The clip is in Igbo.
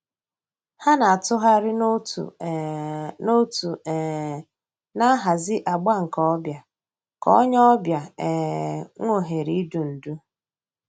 Hà nà-àtụ̀ghàrì n'òtù um n'òtù um nà-àhàzì àgbà nke ò bịa kà ònyè ọ̀ bịa um nwee òhèrè ídù ndú.